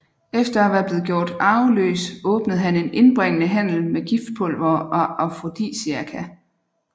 Efter at være blev gjort arveløs åbnede han en indbringende handel med giftpulvere og afrodisiaka